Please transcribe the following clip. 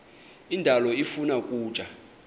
indalo ifuna ukutya